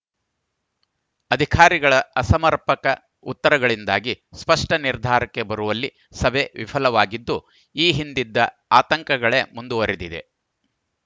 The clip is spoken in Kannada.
ಅಧಿಕಾರಿಗಳ ಅಸಮರ್ಪಕ ಉತ್ತರಗಳಿಂದಾಗಿ ಸ್ಪಷ್ಟನಿರ್ಧಾರಕ್ಕೆ ಬರುವಲ್ಲಿ ಸಭೆ ವಿಫಲವಾಗಿದ್ದು ಈ ಹಿಂದಿದ್ದ ಆತಂಕಗಳೇ ಮುಂದುವರಿದಿವೆ